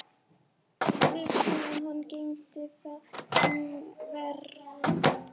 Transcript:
Vefsíða hans geymir þann vefnað.